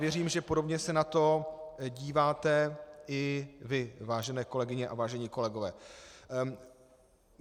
Věřím, že podobně se na to díváte i vy, vážené kolegyně a vážení kolegové.